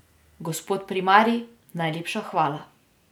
Gospod primarij, najlepša hvala.